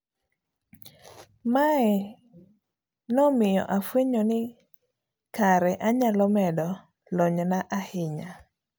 Mae nomiyo afuenyo ni kara anyalo medo lonyna ahinya,